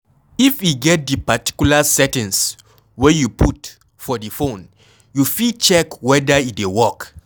If e get di particular settings wey you put for di phone, you fit check weda e dey work